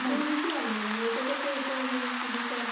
আমি বুঝলাম না, মানে এটার সাথে এটার মানে কী বিষয়ে।